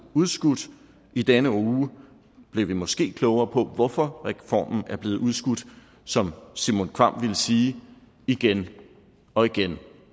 udskudt i denne uge blev vi måske klogere på hvorfor reformen er blevet udskudt som simon kvamm ville sige igen og igen